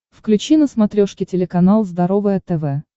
включи на смотрешке телеканал здоровое тв